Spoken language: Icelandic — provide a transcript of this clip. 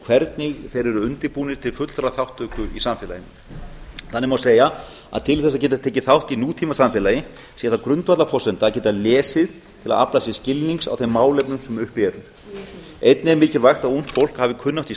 hvernig þeir eru undirbúnir til fullrar þátttöku í samfélaginu þannig má segja að til þess að geta tekið þátt í nútímasamfélagi sé það grundvallarforsenda að geta lesið til að geta aflað sér skilnings á þeim málefnum sem uppi eru einnig er mikilvægt að ungt fólk hafi kunnáttu í